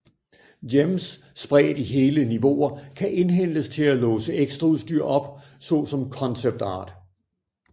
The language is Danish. Gems spredt i hele niveauer kan indhentes til at låse ekstraudstyr op såsom concept art